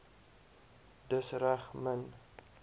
dis reg min